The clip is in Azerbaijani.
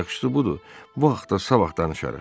Yaxşısı budur, bu haqta sabah danışarıq.